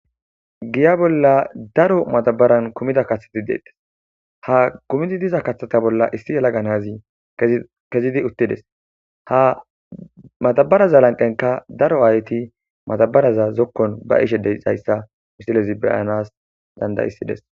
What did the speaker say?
Giya bolla daro madabaran kumid diza kathat de'etes, ha kathaza bolla issi yelaga Nazi kezid utides, ha madabaraza lanqenka daro ayet madaraza zikon ba'ishe dizaysa madabaraz beyanas danda'isides.